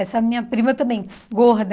Essa minha prima também, gorda.